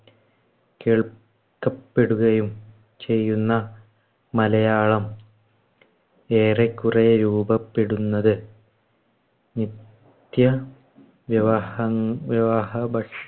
കേൾക്കപ്പെടുകയും ചെയ്യുന്ന മലയാളം ഏറെക്കുറെ രൂപപ്പെടുന്നത്. നിത്യവ്യവഹം വ്യവഹ ഭഷ്